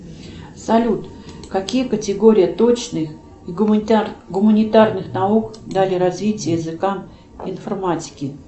салют какие категории точных гуманитарных наук дали развитие языкам информатики